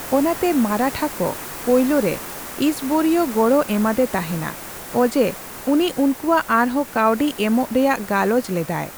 ᱚᱱᱟᱛᱮ ᱢᱟᱨᱟᱴᱷᱟ ᱠᱚ ᱯᱟᱹᱭᱞᱟᱹᱨᱮ ᱤᱥᱵᱚᱨᱤᱭ ᱜᱚᱲᱚ ᱮᱢᱟᱫᱮ ᱛᱟᱦᱮᱸᱱᱟ, ᱚᱡᱮ ᱩᱱᱤ ᱩᱱᱠᱩᱭᱟᱜ ᱟᱨᱦᱚᱸ ᱠᱟᱹᱣᱰᱤ ᱮᱢᱚᱜ ᱨᱮᱭᱟᱜ ᱜᱟᱞᱚᱪ ᱞᱮᱫᱟᱭ᱾